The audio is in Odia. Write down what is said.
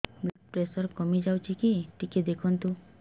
ବ୍ଲଡ଼ ପ୍ରେସର କମି ଯାଉଛି କି ଟିକେ ଦେଖନ୍ତୁ